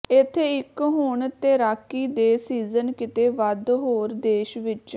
ਇੱਥੇ ਇੱਕ ਹੁਣ ਤੈਰਾਕੀ ਦੇ ਸੀਜ਼ਨ ਕਿਤੇ ਵੱਧ ਹੋਰ ਦੇਸ਼ ਵਿਚ